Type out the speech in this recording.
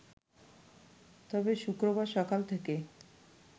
তবে শুক্রবার সকাল থেকে